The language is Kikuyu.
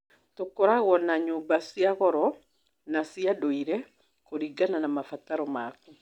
Tũkoragwo na nyũmba cia goro na cia ndũire, kũringana na mabataro maku.